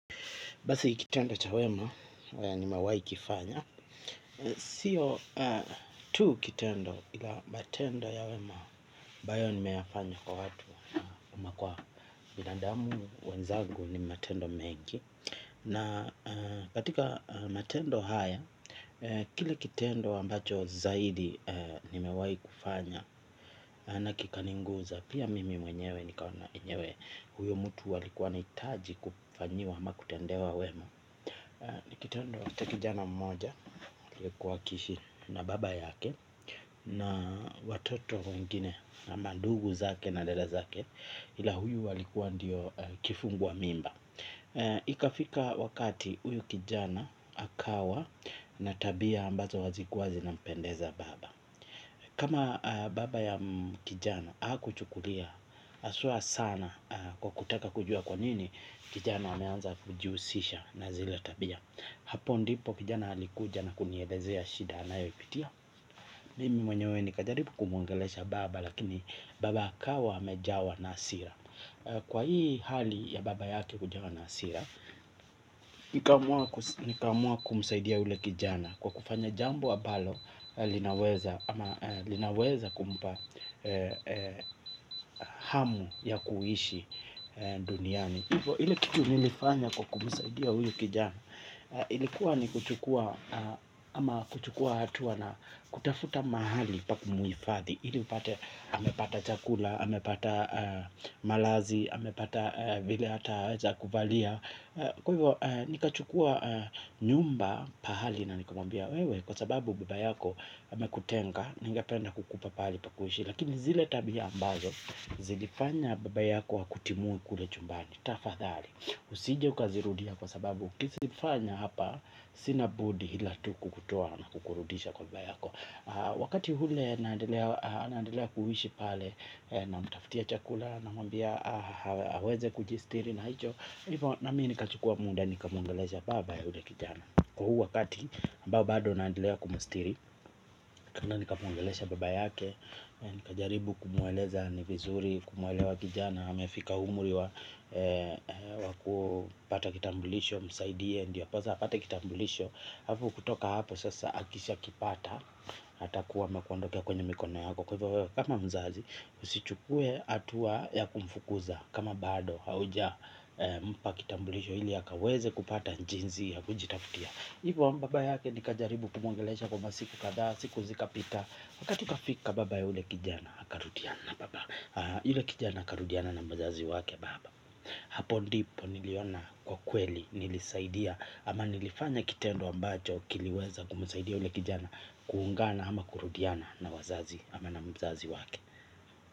Basi kitendo cha wema, yenye nimewaikifanya sio tu kitendo ila matendo ya wema ambayo nimeyafanya kwa watu ama kwa binadamu wenzangu ni matendo mengi na katika matendo haya kile kitendo ambacho zaidi nimewai kufanya na kinanigusa pia mimi mwenyewe nikaona enyewe huyo mtu alikuwa anahitaji kufanyiwa ama kutendewa wema ni kitendo cha kijana mmoja aliyekuwa akiishi na baba yake na watoto wengine na mandugu zake na dada zake ila huyu walikuwa ndiyo kifungua mimba. Ikafika wakati huyu kijana akawa na tabia ambazo hazikuwa zinampendeza baba kama baba ya kijana hakuchukulia haswa sana kwa kutaka kujua kwa nini kijana ameanza kujihusisha na zile tabia hapo ndipo kijana alikuja na kunielezea shida anayopitia mimi mwenyewe nikajaribu kumuongelesha baba lakini baba akawa amejawa na hasira kwa hii hali ya baba yake kujawa na hasira. Nikaamua kumsaidia yule kijana kwa kufanya jambo ambalo linaweza ama linaweza kumpa hamu ya kuishi duniani hivo ile kitu nilifanya kwa kumsaidia huyu kijana ilikuwa ni kuchukua ama kuchukua hatua na kutafuta mahali pa kumuhifadhi ili upate amepata chakula amepata malazi amepata vile ataweza kuvalia kwa hivo nikachukua nyumba pahali na nikamwambia wewe kwa sababu baba yako amekutenga ningependa kukupa pahali pa kuishi lakini zile tabia ambazo zilifanya baba yako akutimue kule chumbani tafadhali. Usije ukazirudia kwa sababu ukizifanya hapa sina budi ila tu kukutoa na kukurudisha kwa baba yako. Wakati ule naandelea kuishi pale namtafutia chakula namwambia aweze kujistiri na hicho. Na mi nikachukua muda nikamuongelesha baba ya yule kijana. Kwa huu wakati ambao bado naendelea kumstiri nikaenda nikamuongelesha baba yake nikajaribu kumueleza ni vizuri kumuelewa kijana amefika umri wa wa kupata kitambulisho msaidie ndiposa apate kitambulisho alafu kutoka hapo sasa akishakipata atakuwa amekuondokea kwenye mikono yako kwa hivyo wewe kama mzazi usichukue hatua ya kumfukuza kama bado hauja mpa kitambulisho ili ya akaweze kupata jinsi ya kujitafutia hivyo baba yake nikajaribu kumuongelesha kwa masiku kadhaa siku zikapita wakati ukafika baba ya yule kijana akarudiana baba yule kijana akarudiana na mzazi wake baba hapo ndipo niliona kwa kweli nilisaidia ama nilifanya kitendo ambacho kiliweza kumsaidia yule kijana kuungana ama kurudiana na wazazi ama na mzazi wake.